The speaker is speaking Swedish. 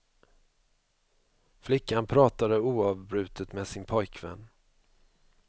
Flickan pratade oavbrutet med sin pojkvän.